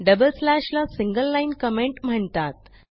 double slash ला single line comment म्हणतात